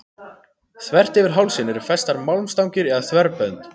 Þvert yfir hálsinn eru festar málmstangir eða þverbönd.